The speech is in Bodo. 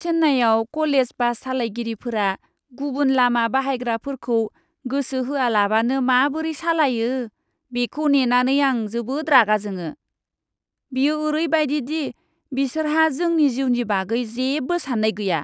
चेन्नाईआव क'लेज बास सालायगिरिफोरा गुबुन लामा बाहायग्राफोरखौ गोसो होआलाबानो माबोरै सालायो बेखौ नैनानै आं जोबोद रागा जोङो। बियो ओरैबादि दि बिसोरहा जोंनि जिउनि बागै जेबो सान्नाय गैया।